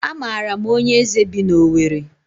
A maara m onye eze bi n'Owere.